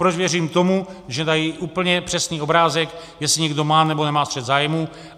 Proč věřím tomu, že dají úplně přesný obrázek, jestli někdo má nebo nemá střet zájmů.